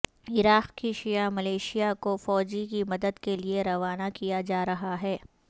عراق کی شیعہ ملیشیا کو فوجی کی مدد کے لیے روانہ کیا جا رہا ہے